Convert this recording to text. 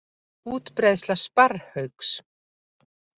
Útbreiðsla sparrhauks.